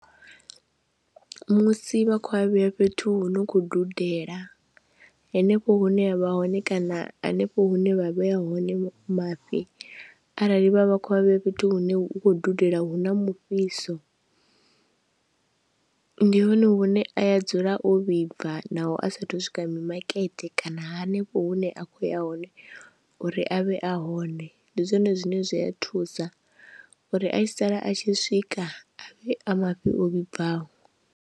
Musi vha khou a vhea fhethu hu no khou dudela hanefho hune ya vha hone kana hanefho hune vha vhea hone mafhi arali vha vha khou avhe fhethu hune hu khou dudela hu na mufhiso. Ndi hone hune a ya dzula o vhibva naho a sa athu u swika mimakete kana hanefho hune a khou ya hone uri a vhe a hone, ndi zwone zwine zwi a thusa uri a tshi sala a tshi swika a vhe a mafhi o vhibvaho.